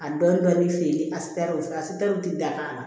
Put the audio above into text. A dɔɔnin dɔɔnin feere a sitɛrɛla satɛriw tɛ dakana